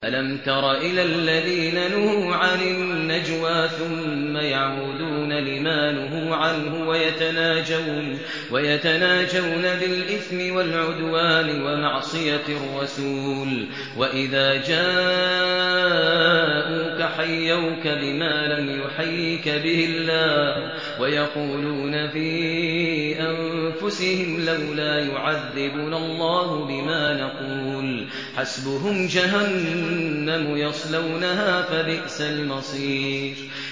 أَلَمْ تَرَ إِلَى الَّذِينَ نُهُوا عَنِ النَّجْوَىٰ ثُمَّ يَعُودُونَ لِمَا نُهُوا عَنْهُ وَيَتَنَاجَوْنَ بِالْإِثْمِ وَالْعُدْوَانِ وَمَعْصِيَتِ الرَّسُولِ وَإِذَا جَاءُوكَ حَيَّوْكَ بِمَا لَمْ يُحَيِّكَ بِهِ اللَّهُ وَيَقُولُونَ فِي أَنفُسِهِمْ لَوْلَا يُعَذِّبُنَا اللَّهُ بِمَا نَقُولُ ۚ حَسْبُهُمْ جَهَنَّمُ يَصْلَوْنَهَا ۖ فَبِئْسَ الْمَصِيرُ